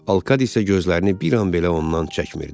Alkad isə gözlərini bir an belə ondan çəkmirdi.